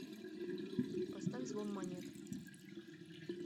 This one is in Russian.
поставь звон монет